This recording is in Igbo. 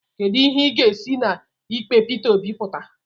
Kedu ihe ga-esi na ikpe Pita Obi pụta?